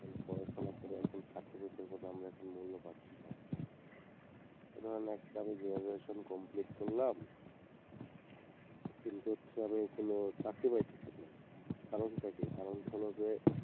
পড়াশুনা করে এখন certificate এর কোনো আমরা মূল্য পাচ্ছিনা এই ধরুন আজকে আমি graduation complete করলাম কিন্তু হচ্ছে আমি কোনো চাকরি পাইতিছিনা কারণ টা কি কারণ টা হলে যে